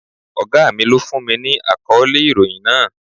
Ògá mi lọ fún mi ní àkọ́lé ìròhìn náà.